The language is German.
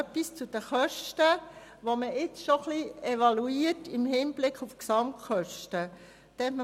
Noch etwas zu den Kosten, die man jetzt schon im Hinblick auf die Gesamtkosten ein wenig evaluiert: